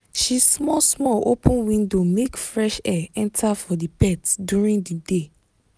she small small open window make fresh air enter for the pet during the day